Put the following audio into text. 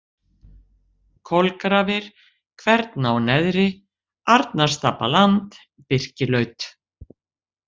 Kolgrafir, Kverná-Neðri, Arnarstapaland, Birkilaut